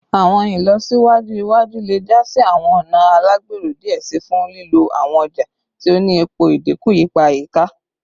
Awọn ilọsiwaju iwaju le ja si awọn ọna alagbero diẹ sii fun lilo awọn ọja ti o ni epo, idinku ipa ayika